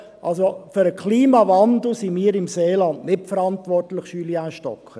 Also für den Klimawandel sind wir im Seeland nicht verantwortlich, Julien Stocker.